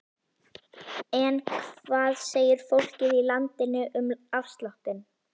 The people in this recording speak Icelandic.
En hvað segir fólkið í landinu um afsláttinn?